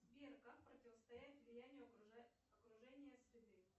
сбер как противостоять влиянию окружения среды